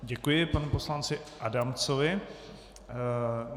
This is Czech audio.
Děkuji panu poslanci Adamcovi.